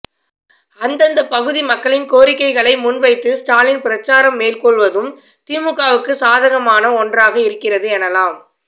அந்தந்த பகுதி மக்களின் கோரிக்கைகளை முன்வைத்து ஸ்டாலின் பிரசாரம் மேற்கொள்வதும் திமுகவுக்கு சாதகமான ஒன்றாக இருக்கிறது எனலாம்